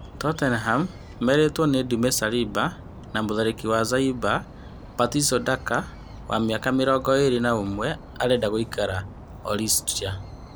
Totenami merĩtwo nĩ Ndume Saliba na mũtharĩkĩri wa Zaimba, Patiso Ndaka wa mĩaka mĩrongo ĩrĩ na ũmwe arenda gũikara Ostria.